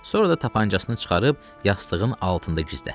Sonra da tapançasını çıxarıb yastığın altında gizlətdi.